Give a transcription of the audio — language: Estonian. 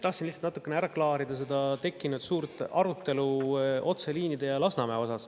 Tahtsin lihtsalt natukene ära klaarida seda tekkinud suurt arutelu otseliinide ja Lasnamäe üle.